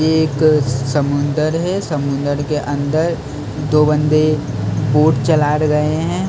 ये एक समुंदर है समुंदर के अंदर दो बंदे बोट चला रहे है समुं--